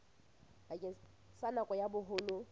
bakeng sa nako ya boholo